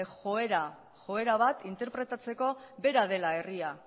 joera bat interpretatzeko bera dela herria